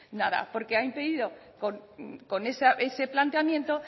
nada porque ha impedido con ese planteamiento